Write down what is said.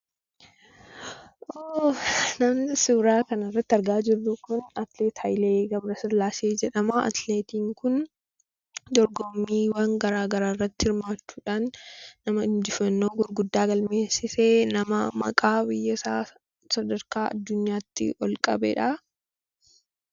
Namni suuraa kanarratti argaa jirru kun atileet Hayilee G/sillaasee jedhama. Atileetiin kun dorgommiiwwan garaagaraa irratti hirmaachuudhaan nama injifannoo gurguddaa galmeessise nama maqaa biyyasaa sadarkaa addunyaatti ol qabedha.